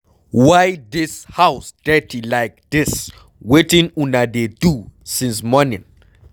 Why dis house dirty like dis, wetin una dey do since morning?